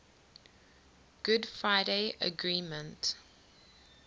good friday agreement